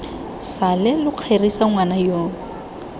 sale lo kgerisa ngwana yoo